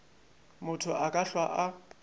motho a ka hlwa a